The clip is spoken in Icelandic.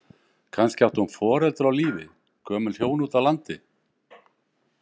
Kannski átti hún foreldra á lífi, gömul hjón úti á landi.